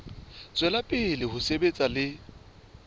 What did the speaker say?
tswela pele ho sebetsa le